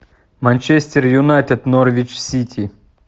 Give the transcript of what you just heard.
манчестер юнайтед норвич сити